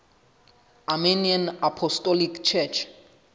armenian apostolic church